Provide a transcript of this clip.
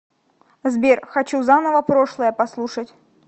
сбер хочу заново прошлое послушать